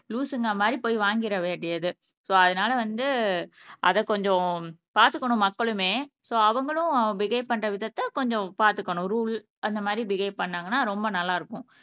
லூசுங்க மாதிரி போய் வாங்கிற வேண்டியது சோ அதனால வந்து அதை கொஞ்சம் பார்த்துக்கணும் மக்களுமே சோ அவங்களும் பிஹவ் பண்ற விதத்தை கொஞ்சம் பார்த்துக்கணும் ரூல் அந்த மாதிரி பிஹவ் பண்ணாங்கன்னா ரொம்ப நல்லா இருக்கும்